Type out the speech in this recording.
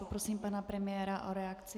Poprosím pana premiéra o reakci.